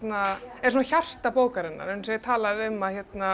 er svona hjarta bókarinnar eins og er talað um að